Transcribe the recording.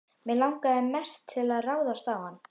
Mig langaði mest til að ráðast á hann.